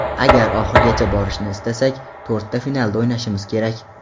Agar oxirigacha borishni istasak, to‘rtta finalda o‘ynashimiz kerak.